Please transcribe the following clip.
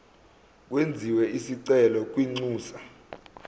kwenziwe isicelo kwinxusa